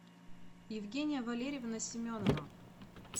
евгения валерьевна семенова